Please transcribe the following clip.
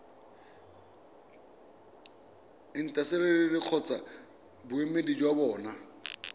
intaseteri kgotsa boemedi jwa bona